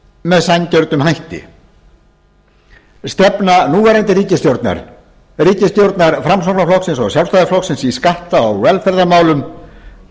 með sanngjörnum hætti stefna núverandi ríkisstjórnar ríkisstjórnar framsóknarflokksins og sjálfstæðisflokksins í skatta og velferðarmálum